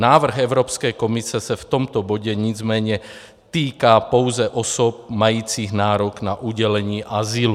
Návrh Evropské komise se v tomto bodě nicméně týká pouze osob majících nárok na udělení azylu.